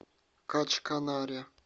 качканаре